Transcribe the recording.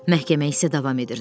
Məhkəmə isə davam edirdi.